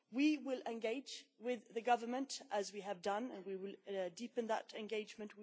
We will engage with the government as we have done and we will deepen that engagement.